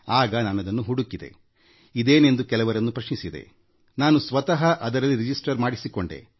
ಆಗ ಅವರು ಆ ಬಗ್ಗೆ ಹುಡಿಕಿದರು ಇದೇನೆಂದು ಕೆಲವರನ್ನು ಪ್ರಶ್ನಿಸಿದರು ಬಳಿಕ ಸ್ವತಃ ಅದರಲ್ಲಿ ನೋಂದಣಿ ಮಾಡಿಸಿಕೊಂಡರು